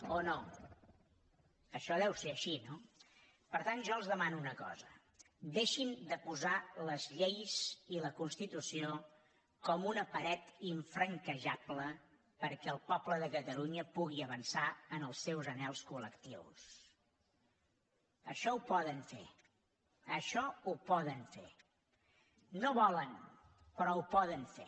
o no això deu ser així no per tant jo els demano una cosa deixin de posar les lleis i la constitució com una paret infranquejable perquè el poble de catalunya pugui avançar en els seus anhels colaixò ho poden fer això ho poden fer no volen però ho poden fer